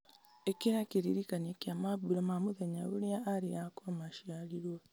ĩkĩra kĩririkania kĩa mambura ma mũthenya ũrĩa arĩ akwa maciarirwo